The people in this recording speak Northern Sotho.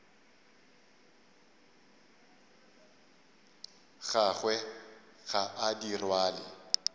gagwe ga a di rwale